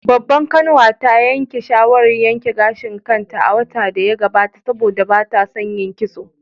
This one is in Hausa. Babbar kanwata ta yanke shawarar yanke gashin kanta a watan da ya gabata saboda ba ta son yin kitso